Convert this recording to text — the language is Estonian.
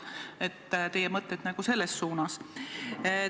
Millised on teie mõtted selles suunas?